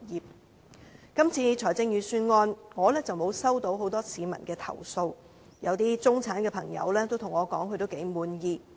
就今次的預算案，我並沒有接獲很多市民投訴，一些中產朋友也對我表示他們頗滿意。